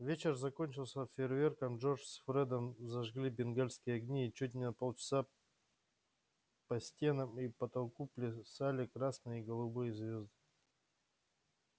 вечер закончился фейерверком джордж с фредом зажгли бенгальские огни и чуть не полчаса по стенам и потолку плясали красные и голубые звезды